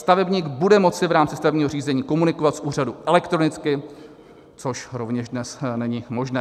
Stavebník bude moci v rámci stavebního řízení komunikovat s úřadem elektronicky, což rovněž dnes není možné.